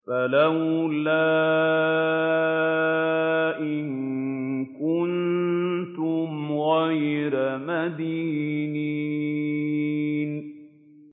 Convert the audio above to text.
فَلَوْلَا إِن كُنتُمْ غَيْرَ مَدِينِينَ